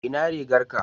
ina rigar ka?